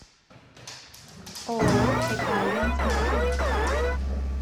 ооо экоальянс маршрут